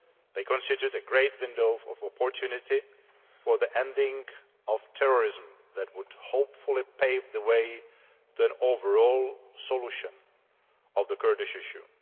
They constitute a great window of opportunity for the ending of terrorism that would hopefully pave the way for an overall solution to the Kurdish issue.